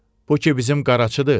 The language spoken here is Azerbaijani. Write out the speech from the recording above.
Bu ki bizim qaraçıdır.